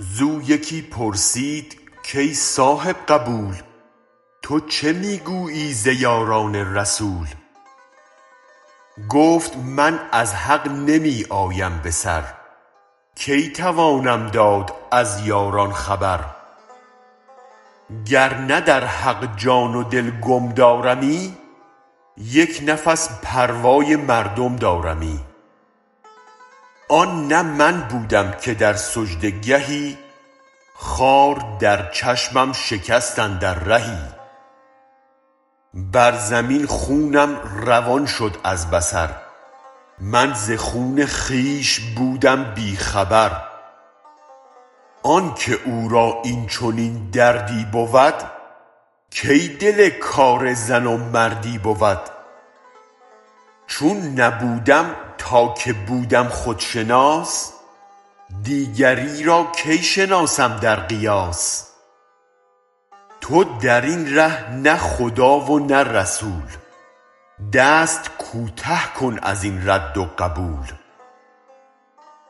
زو یکی پرسید کای صاحب قبول تو چه می گویی ز یاران رسول گفت من از حق نمی آیم به سر کی توانم داد از یاران خبر گرنه در حق جان و دل گم دارمی یک نفس پروای مردم دارمی آن نه من بودم که در سجده گهی خار در چشمم شکست اندر رهی بر زمین خونم روان شد از بصر من ز خون خویش بودم بی خبر آنک او را این چنین دردی بود کی دل کار زن و مردی بود چون نبودم تا که بودم خودشناس دیگری را کی شناسم در قیاس تو درین ره نه خدا و نه رسول دست کوته کن ازین رد و قبول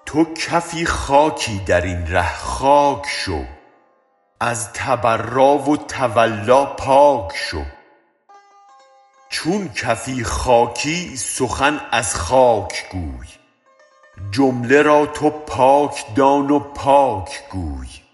تو کفی خاکی درین ره خاک شو از تبرا و تولا پاک شو چون کفی خاکی سخن از خاک گوی جمله را تو پاک دان و پاک گوی